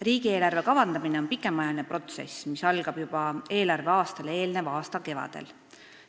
Riigieelarve kavandamine on pikaajaline protsess, mis algab juba eelarveaastale eelneva aasta kevadel.